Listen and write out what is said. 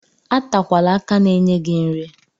Atakwala aka na-enye gị nri.